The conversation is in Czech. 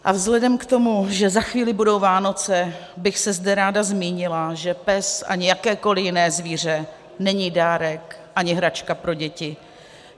A vzhledem k tomu, že za chvíli budou Vánoce, bych se zde ráda zmínila, že pes ani jakékoli jiné zvíře není dárek ani hračka pro děti.